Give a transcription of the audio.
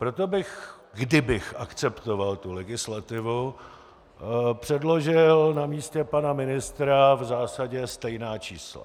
Proto bych, kdybych akceptoval tu legislativu, předložil na místě pana ministra v zásadě stejná čísla.